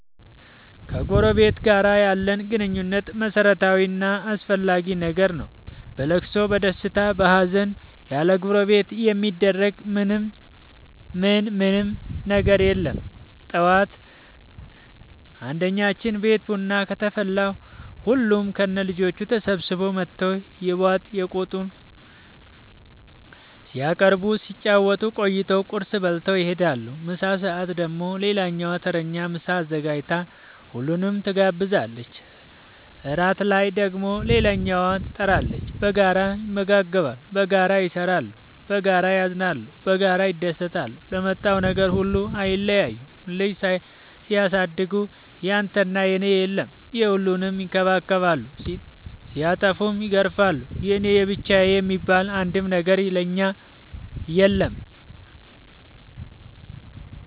ከጎረበት ጋር ያለን ግንኙነት መረታዊ እና አስፈላጊ ነገር ነው። በለቅሶ በደስታ በሀዘን ያለጎረቤት የሚደረግ ምን ምንም ነገር የለም ጠዋት አንድኛችን ቤት ቡና ከተፈላ ሁሉም ከነ ልጆቹ ተሰብስበው መተው የባጥ የቆጡን ሲያነሱ ሲጫወቱ ቆይተው ቁርስ በልተው ይሄዳሉ። ምሳ ሰአት ደግሞ ሌላኛዋ ተረኛ ምሳ አዘጋጅታ ሁሉንም ትጋብዛለች። እራት ላይ ደግሞ ሌላኛዋተረኛ ትጣራለች። በጋራ ይመገባሉ በጋራ ይሰራሉ። በጋራ ያዝናሉ በጋራ ይደሰታሉ ለመጣው ነገር ሁሉ አይለያዩም ልጅ ሲያሳድጉ ያንተና የኔ የለም የሁሉንም ይከባከባሉ ሲጠፉም ይገርፋሉ የኔ የብቻዬ የሚባል አንድም ነገር የለም እኛ ጋር።